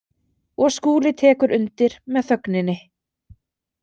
Og Skúli tekur undir með þögninni.